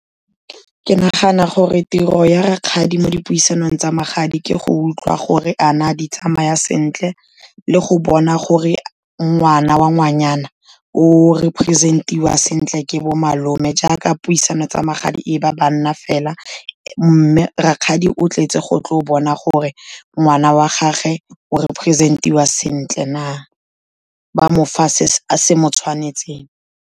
Ke nagana gore tiro ya rakgadi mo dipuisanong tsa magadi ke go utlwa gore a na di tsamaya sentle, le go bona gore ngwana wa ngwanyana o representiwa sentle ke bo malome, jaaka puisano tsa magadi e ba banna fela, mme rakgadi o tletse go tlo bona gore ngwana wa gagwe o representiwa sentle na, ba mo fa se se mo tshwanetseng.